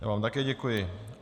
Já vám také děkuji.